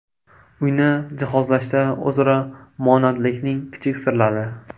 Uyni jihozlashda o‘zaro monandlikning kichik sirlari.